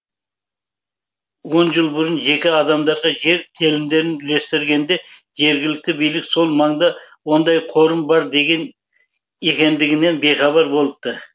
он жыл бұрын жеке адамдарға жер телімдерін үлестіргенде жергілікті билік сол маңда ондай қорым бар екендігінен бейхабар болыпты